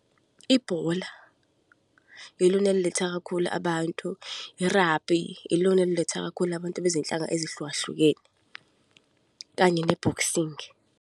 Ibhola ilona eliletha kakhulu abantu. I-rugby ilona eliletha kakhulu abantu bezinhlanga ezihlukahlukene, kanye ne-boxing.